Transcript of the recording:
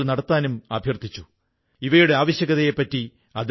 എനിക്കും പ്രധാനമന്ത്രിയോടു സംസാരിക്കാനായതിൽ വളരെ സന്തോഷമുണ്ട്